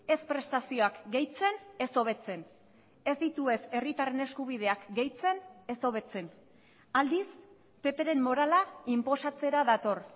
ez prestazioak gehitzen ez hobetzen ez ditu ez herritarren eskubideak gehitzen ez hobetzen aldiz ppren morala inposatzera dator